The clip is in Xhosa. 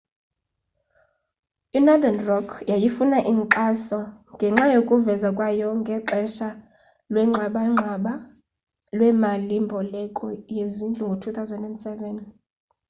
i-northern rock yayifuna inkxaso ngenxa yokuvezwa kwayo ngexesha lwengxabangxaba lwemali mboleko yezindlu ngo-2007